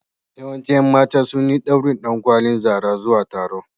Yawancin ƴan mata sun yi ɗaurin ɗankwalin Zara zuwa taro.